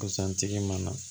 Busan tigi mana na